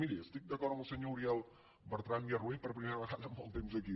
miri estic d’acord amb el senyor uriel bertran i arrué per primera vegada amb molt temps aquí